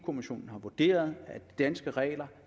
kommissionen har vurderet at de danske regler